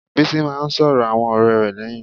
Bísí máá ń sọ̀rọ̀ àwọn ọ̀rẹ́ rẹ̀ lẹ́yìn.